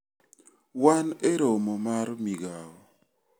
Wan e romo mar migao.